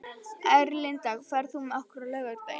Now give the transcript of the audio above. Erlinda, ferð þú með okkur á laugardaginn?